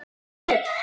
Elsku gull.